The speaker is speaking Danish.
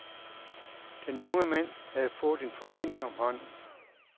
Den unge mand har fået en forbinding om hånden.